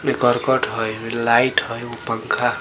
एमे करकट हय लाइट हय उ पंखा --